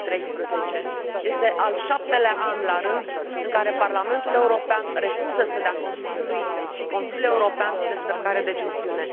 2013. Este al șaptelea an la rând în care Parlamentul European refuză să dea Consiliului și Consiliului European descărcarea de gestiune.